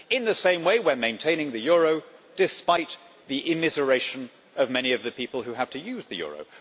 In the same way we are maintaining the euro, despite the immiseration of many of the people who have to use the euro.